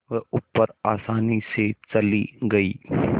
वह ऊपर आसानी से चली गई